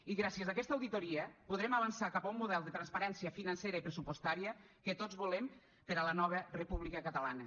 i gràcies a aquesta auditoria podrem avançar cap a un model de transparència financera i pressupostària que tots volem per a la nova república catalana